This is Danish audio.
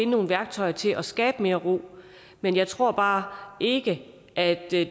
nogle værktøjer til at skabe mere ro men jeg tror bare ikke at det